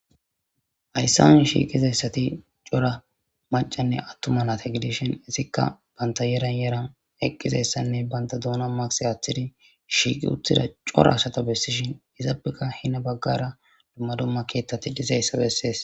hayssan shiiqizayssati cora macanne attuma naate gidishin isikka banta yeran yeran eqqizayssanne banta douna maqisi aaththidi shiiqi uttida cora asata bessishin izaabeka hina baggara dumma domma keettati dizayssa bessees